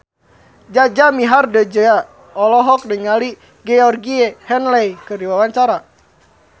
Jaja Mihardja olohok ningali Georgie Henley keur diwawancara